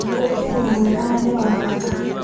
Ũkĩ nĩ mwega na nĩ wa bata.